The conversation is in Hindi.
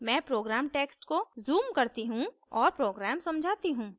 मैं program text को zoom करती हूँ और program समझाती हूँ